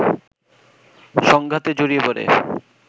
সংঘাতে জড়িয়ে পড়ে